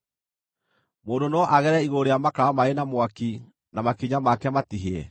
Mũndũ no agerere igũrũ rĩa makara marĩ na mwaki, na makinya make matihĩe?